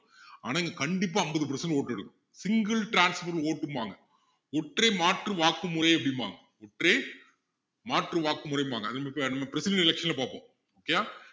ஆனா இங்க கண்டிப்பா ஐம்பது percent vote எடுக்கணும் single transfer vote உம்பாங்க ஒற்றை மாற்று வாக்கு முறை அப்படிம்பாங்க ஒற்றை மாற்று வாக்கு முறைம்பாங்க அது இப்ப~நம்ம president election ல பாப்போம் okay யா